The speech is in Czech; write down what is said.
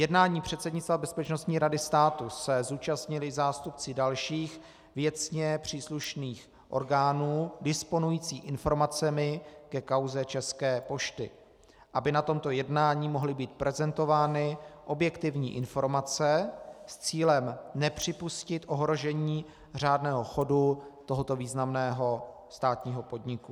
Jednání předsednictva Bezpečnostní rady státu se zúčastnili zástupci dalších věcně příslušných orgánů disponujících informacemi ke kauze České pošty, aby na tomto jednání mohly být prezentovány objektivní informace s cílem nepřipustit ohrožení řádného chodu tohoto významného státního podniku.